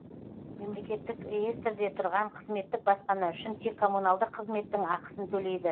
мемлекеттік реестрде тұрған қызметтік баспана үшін тек коммуналдық қызметтің ақысын төлейді